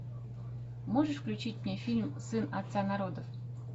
можешь включить мне фильм сын отца народов